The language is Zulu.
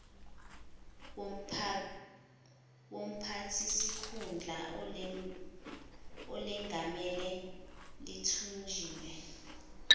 womphathisikhundla olengamele lithunjiwe